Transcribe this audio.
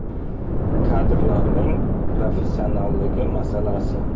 Kadrlarning professionalligi masalasi.